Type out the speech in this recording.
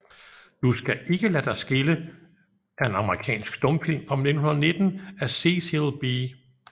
Du skal ikke lade dig skille er en amerikansk stumfilm fra 1919 af Cecil B